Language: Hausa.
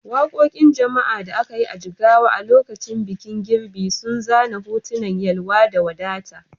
Wakokin jama'a da aka yi a Jigawa a lokacin bikin girbi sun zana hotunan yalwa da wadata.